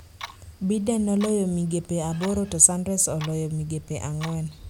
Biden noloyo migepe aboro to Sanders oloyo migepe ang'wen,